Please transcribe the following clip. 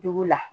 Dugu la